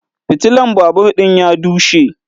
Fitilan babur din ya dushe